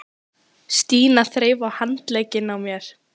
Stína þreif í handlegginn á mér.